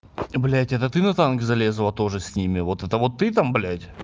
блять это ты на танк залезла тоже с ними вот это вот ты там блять